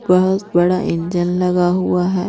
बहुत बड़ा इंजन लगा हुआ है।